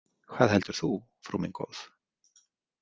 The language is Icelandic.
Hvað heldur þú, frú mín góð?